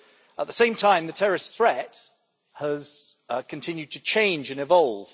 At the same time, the terrorist threat has continued to change and evolve.